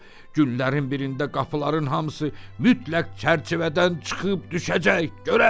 Günlərin birində qapıların hamısı mütləq çərçivədən çıxıb düşəcək, görərsiz.